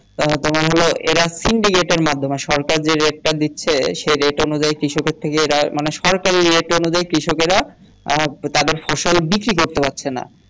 তা তোমার হলো এরা সিন্ডিকেটের মাধ্যমে সরকার যে rate টা দিচ্ছে সে rate অনুযায়ী কৃষকে থেকে এরা মানে সরকারি rate অনুযায়ী কৃষকেরা আহ তাদের ফসল বিক্রি করতে পারছে না